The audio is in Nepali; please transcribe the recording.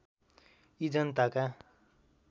यी जनताका